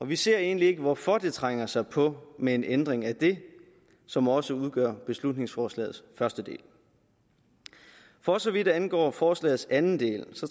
vi ser egentlig ikke hvorfor det trænger sig på med en ændring af det som også udgør beslutningsforslagets første del for så vidt angår forslagets anden del